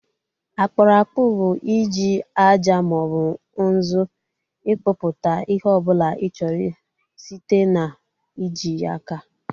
Akpụrụ akpụ bụ i ji aja maọbụ nzu ịkpụpụta ihe ọbụla ị chọrọ site na ị ji aka